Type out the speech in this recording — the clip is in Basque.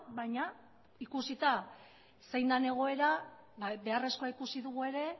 baina ikusita zein dan egoera beharrezkoa ikusi dugu ere